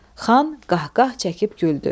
Xan qahqah çəkib güldü.